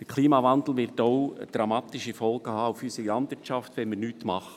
Der Klimawandel wird auch dramatische Folgen haben für unsere Landwirtschaft, wenn wir nichts tun.